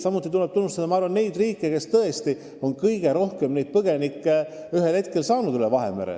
Meil tuleb kindlasti tunnustada riike, kes on olnud sunnitud kõige rohkem üle Vahemere tulnud põgenikke vastu võtma.